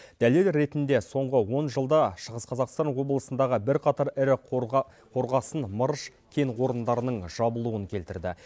дәлел ретінде соңғы он жылда шығыс қазақстан облысындағы бірқатар ірі қорғасын мырыш кен орындарының жабылуын келтірді